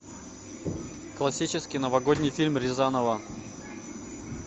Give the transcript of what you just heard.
классический новогодний фильм рязанова